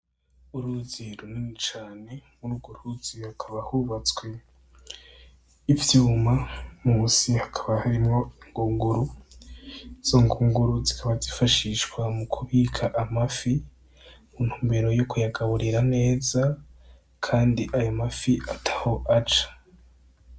Uruzi runini cane mur'urwu ruzi hakaba hubatswe ivyuma musi hakaba harimwo ingunguru , izo ngunguru zikaba zifashishwa mukubika amafi mu ntumbero yo kuyagaburira neza kandi ayo mafi ataho aja.